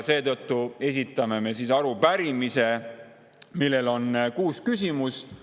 Seetõttu esitame me arupärimise, milles on kuus küsimust.